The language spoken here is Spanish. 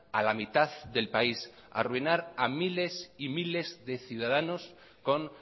a la mitad del país arruinar a miles y miles de ciudadanos con